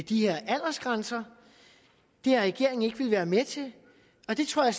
de her aldersgrænser det har regeringen ikke villet være med til og det tror jeg